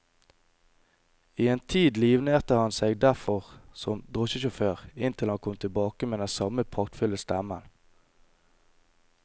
I en tid livnærte han seg derfor som drosjesjåfør, inntil han kom tilbake med den samme praktfulle stemmen.